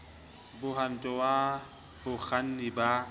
d mohwanto wa bakganni ba